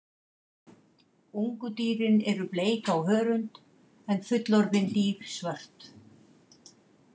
Ungu dýrin eru bleik á hörund en fullorðin dýr svört.